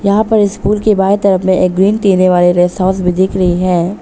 यहां पर स्कूल की बाईं तरफ में एक ग्रीन टीने वाले रेस्ट हाउस भी दिख रही है।